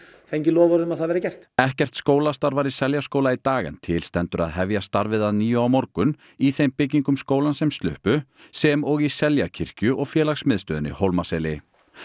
fengið loforð um að það verði gert ekkert skólastarf var í Seljaskóla í dag en til stendur að hefja starfið að nýju á morgun í þeim byggingum skólans sem sluppu sem og Seljakirkju og félagsmiðstöðinni Hólmaseli